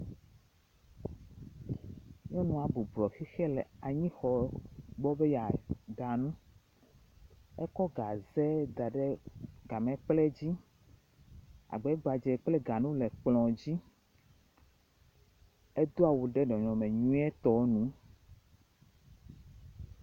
Nyɔnua bɔblɔ xixɛ le anyixɔ gbɔ be yeaɖa. Ekɔ gaze da ɖe gamɛkple dzi. Agbɛgbadzɛ kple ganu le edzi. Edo awu ɖe nɔnɔme nyuietɔ nu.